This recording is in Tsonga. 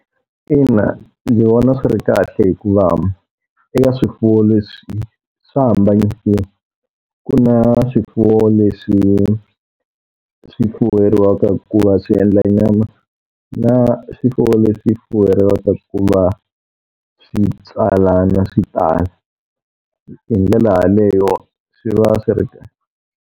Ina ndzi vona swi ri kahle hikuva eka swifuwo leswi swa hambanyisiwa. Ku na swifuwo leswi swi fuweriwaka ku va swi endla nyama, na swifuwo leswi fuweriwaka ku va swi tswalana swi tala. Hi ndlela yaleyo swi va swi ri kahle.